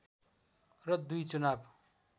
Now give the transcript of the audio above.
र दुई चुनाव